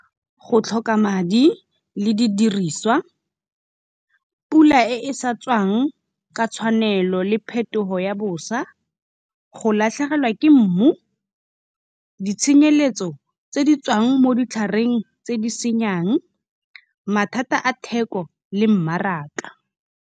Go tlhoka madi le di diriswa, pula e sa tswang ka tshwanelo le phetogo ya boswa. Go latlhegelwa ke mmu, ditshenyeletso tse di tswang mo ditlhareng tse di senyang, mathata a theko le mmaraka.